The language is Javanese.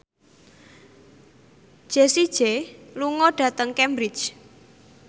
Jessie J lunga dhateng Cambridge